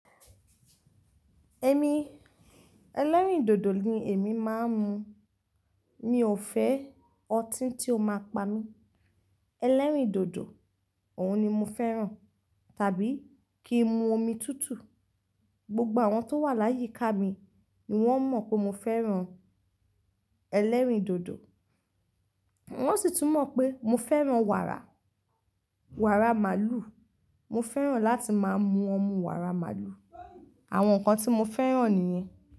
Èmi, ẹlẹ́rìndòdò ni èmi máa ń mu. Mi ò fẹ́ ọtí tí ó máa pa mí. Ẹlẹ́rìndòdò, òun ni mo fẹ́ràn tàbí kí n mu omi tútù. Gbogbo àwọn tó wà láyìí ká mi ni wọ́n mọ̀ pé mo fẹ́ràn ẹlẹ́rìndòdò. Wọ́n sì tún mọ̀ pé mo fẹ́ràn wàrà, wàrà màlúù. Mo fẹ́ràn láti máa mu ọmú wàrà màlúù. Àwọn nǹkan tí mo fẹ́ràn nìyẹn.